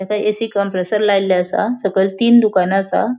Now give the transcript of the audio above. त्याका AC. Compressor लायल्ले असा सकयल तीन दुकाना आसा.